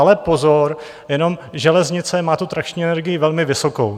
Ale pozor, jenom železnice má tu trakční energii velmi vysokou.